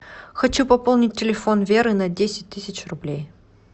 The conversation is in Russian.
хочу пополнить телефон веры на десять тысяч рублей